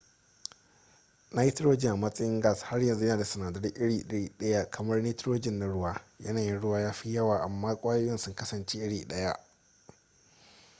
nitrogen a matsayin gas har yanzu yana da sinadarai iri ɗaya kamar nitrogen na ruwa yanayin ruwa ya fi yawa amma kwayoyin sun kasance iri ɗaya